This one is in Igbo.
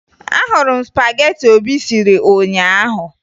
Ahụrụ m spagetị Obi siri ụnyaahụ